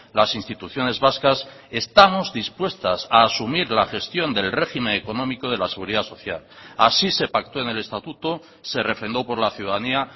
las instituciones vascas estamos dispuestas a asumir la gestión del régimen económico de la seguridad social así se pactó en el estatuto se refrendó por la ciudadanía